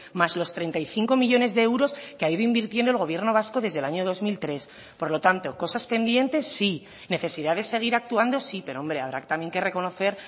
más los treinta y cinco millónes de euros que ha ido invirtiendo el gobierno vasco desde el año dos mil tres por lo tanto cosas pendientes sí necesidad de seguir actuando sí pero hombre habrá también que reconocer